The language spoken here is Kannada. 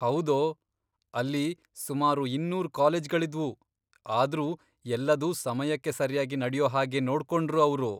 ಹೌದೋ, ಅಲ್ಲಿ ಸುಮಾರು ಇನ್ನೂರ್ ಕಾಲೇಜ್ಗಳಿದ್ವು, ಆದ್ರೂ ಎಲ್ಲದೂ ಸಮಯಕ್ಕೆ ಸರ್ಯಾಗಿ ನಡ್ಯೋ ಹಾಗೆ ನೋಡ್ಕೊಂಡ್ರು ಅವ್ರು.